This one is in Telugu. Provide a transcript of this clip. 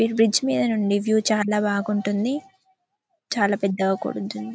బ్రిడ్జి మీద నుండి వ్యూ చాల బాగుంటుంది చాల పెద్దగా కూడా ఉంటుంది.